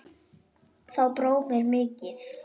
Þá brá mér mikið